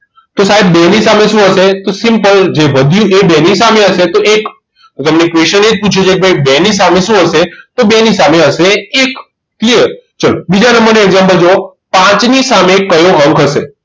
તો સાહેબ બેની સામે શું હશે તો simple જે વધ્યું એ બે ની સામે હશે તો એક જેમણે question એજ પૂછ્યું છે કે ભાઈ બે ની સામે શું હશે તો બે ની સામે હશે એ clear ચલો. બીજા નંબર નું example જુઓ પાંચ ની સામે કયો અંક હશે